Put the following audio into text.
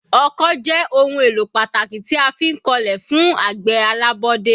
Ọkọ́ jẹ́ ohun èlò pàtàkì tí a fi ń kọlẹ̀ fún àgbẹ̀ alábọ́dé.